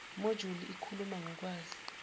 mojuli ikhuluma ngokwazi